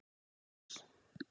Magnús